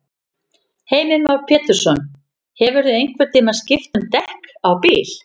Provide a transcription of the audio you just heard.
Heimir Már Pétursson: Hefurðu einhvern tímann skipt um dekk á bíl?